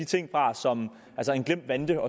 ting fra som en glemt vante